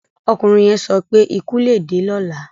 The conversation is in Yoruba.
.Ọkùnrin yẹn sọ pé: "Ikú lè dé lọ́la".